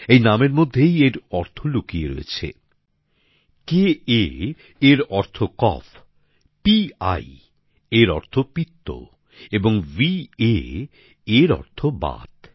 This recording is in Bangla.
এই নামের মধ্যেই এর অর্থ লুকিয়ে রয়েছে ক এর অর্থ কফ পি এর অর্থ পিত্ত এবং বা এর অর্থ বাত